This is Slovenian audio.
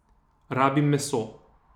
Rabim meso.